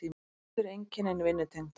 Öll eru einkennin vinnutengd.